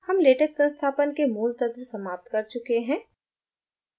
हम latex संस्थापन के मूल तत्व समाप्त कर चुके हैं